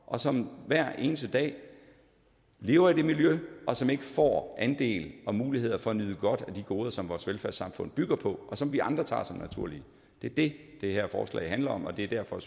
og som hver eneste dag lever i det miljø og som ikke får andel i og muligheder for at nyde godt af de goder som vores velfærdssamfund bygger på og som vi andre tager som naturlige det er det det her forslag handler om og det er derfor